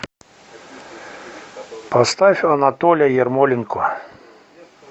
поставь анатоля ярмоленко